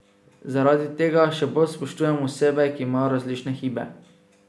Zaradi tega še bolj spoštujem osebe, ki imajo različne hibe.